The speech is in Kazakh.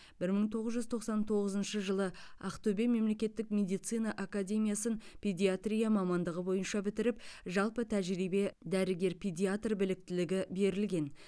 бір мың тоғыз жүз тоқсан тоғызыншы жылы ақтөбе мемлекеттік медицина академиясын педиатрия мамандығы бойынша бітіріп жалпы тәжірибе дәрігер педиатр біліктілігі берілген